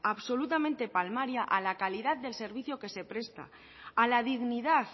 absolutamente palmaria a la calidad del servicio que se presta a la dignidad